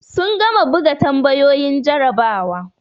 Sun gama buga tambayoyin jarabawa.